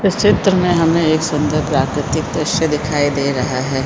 इस चित्र में हमें एक सुंदर प्राकृतिक दृश्य दिखाई दे रहा हैं।